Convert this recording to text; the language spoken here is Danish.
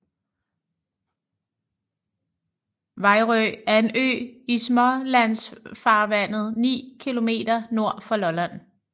Vejrø er en ø i Smålandsfarvandet 9 km nord for Lolland